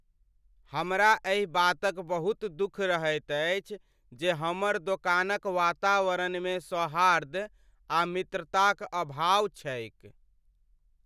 हमरा एहि बातक बहुत दुख रहैत अछि जे हमर दोकानक वातावरणमे सौहार्द आ मित्रताक अभाव छैक।